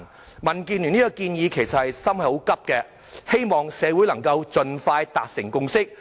就民建聯這項建議，我們其實是很心急的，希望社會能夠盡快達成共識。